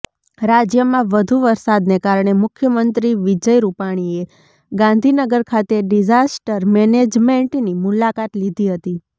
રાજ્યમાં વધુ વરસાદને કારણે મુખ્યમંત્રી વિજય રૂપાણીએ ગાંધીનગર ખાતે ડિઝાસ્ટર મેનેજમેન્ટની મુલાકાત લીધી હતી